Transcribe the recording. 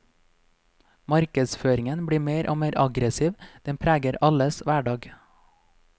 Markedsføringen blir mer og mer aggressiv, den preger alles hverdag.